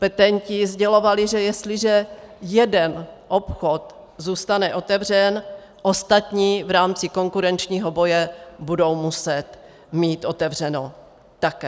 Petenti sdělovali, že jestliže jeden obchod zůstane otevřen, ostatní v rámci konkurenčního boje budou muset mít otevřeno také.